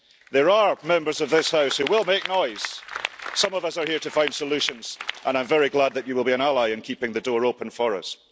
There are Members of this House who will make noise. Some of us are here to find solutions and I am very glad that you will be an ally in keeping the door open for us.